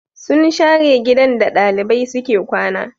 Sun share gidan da ɗalibai suke kwana